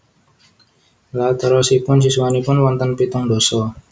Lha terosipun siswanipun wonten pitung ndasa?